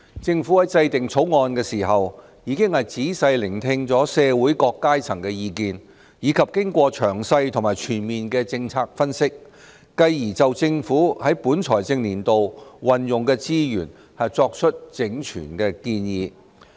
政府在制定《條例草案》時，已經仔細聆聽社會各階層的意見，以及經過詳細和全面的政策分析，繼而就政府在本財政年度運用的資源作出整全的建議。